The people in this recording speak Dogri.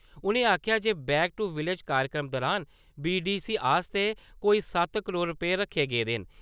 उ'नें आखेआ जे 'बैक टू विलेज’ कार्यक्रम दुरान बीडीसी आस्तै कोई सत्त करोड़ रपेऽ रक्खे गेदे न ।